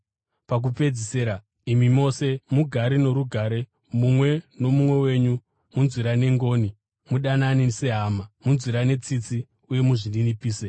Pakupedzisira, imi mose, mugare norugare mumwe nomumwe wenyu; munzwirane ngoni, mudanane sehama, munzwirane tsitsi uye muzvininipise.